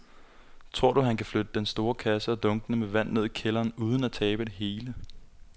Tror du, at han kan flytte den store kasse og dunkene med vand ned i kælderen uden at tabe det hele?